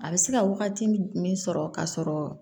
A bɛ se ka wagati min sɔrɔ ka sɔrɔ